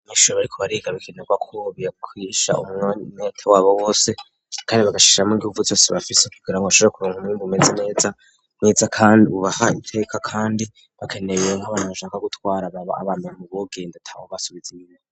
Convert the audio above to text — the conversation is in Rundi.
Abanyeshuri bariko bariga bikenerwa ubigishanya umwete wabo wose kandi bagashiramwo inguvu zose bafise kugira ngo bashobore kuronka umwimbu umeze neza, Neza kandi ubaha iteka kandi bakeneye nk'abantu bashobora gutwara baba abambere mu bogenda atawubasubiza inyuma.